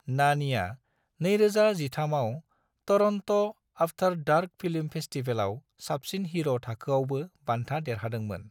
नानीआ 2013 आव Toronto after dark film फेस्टिवलआव साबसिन हिर' थाखोआवबो बान्था देरहादोंमोन।